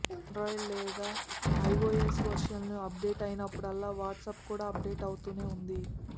Android లేదా iOS వర్షన్లు update అయినప్పుడల్లా వాట్సప్ కూడా అప్డేట్ అవుతూనే ఉంది